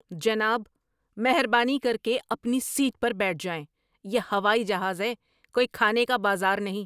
جناب، مہربانی کر کے اپنی سیٹ پر بیٹھ جائیں۔ یہ ہوائی جہاز ہے، کوئی کھانے کا بازار نہیں!